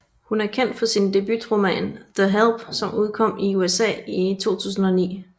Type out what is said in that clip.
Hun er kendt for sin debutroman The Help som udkom i USA i 2009